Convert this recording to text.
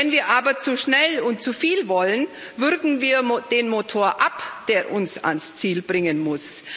Wenn wir aber zu schnell und zu viel wollen, würgen wir den Motor ab, der uns ans Ziel bringen muss.